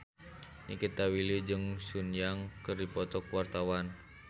Nikita Willy jeung Sun Yang keur dipoto ku wartawan